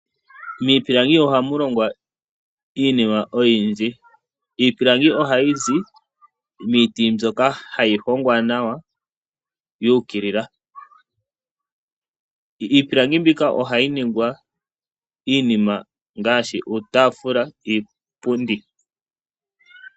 Miipilangi ohamu lingwa iinima oyindji. Iipilangi ohayizi miiti mbyoka hayi hongwa nawa yu ukilila. Iipilangi mbika ohayi longwa iinima ngaashi iitaafula niipundi.